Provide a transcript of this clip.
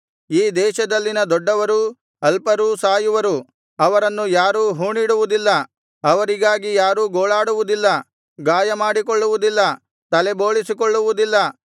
ಈ ದೇಶದಲ್ಲಿನ ದೊಡ್ಡವರೂ ಅಲ್ಪರೂ ಸಾಯುವರು ಅವರನ್ನು ಯಾರೂ ಹೂಣಿಡುವುದಿಲ್ಲ ಅವರಿಗಾಗಿ ಯಾರೂ ಗೋಳಾಡುವುದಿಲ್ಲ ಗಾಯಮಾಡಿಕೊಳ್ಳುವುದಿಲ್ಲ ತಲೆಬೋಳಿಸಿಕೊಳ್ಳುವುದಿಲ್ಲ